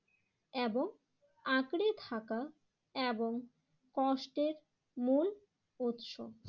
এবং আঁকড়ে থাকা এবং কষ্টের মূল উৎস